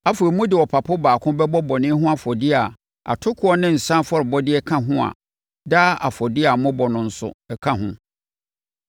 Afei, mode ɔpapo baako bɛbɔ bɔne ho afɔdeɛ a atokoɔ ne nsã afɔrebɔdeɛ ka ho a daa afɔdeɛ a mobɔ no nso ka ho.